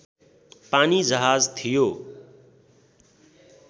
पानीजहाज थियो